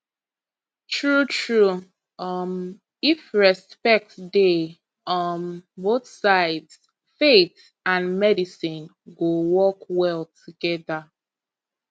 truetrue um if respect dey um both sides faith and medicine go work well together